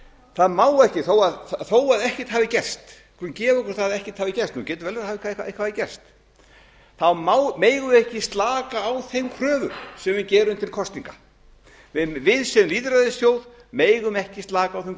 það má ekki þó ekkert hafi gerst við skulum gefa okkur það að ekkert hafi gerst nú getur vel verið að eitthvað hafi gerst þá megum við ekki slaka á þeim kröfum sem við gerum til kosninga við sem lýðræðisþjóð megum ekki slaka á þeim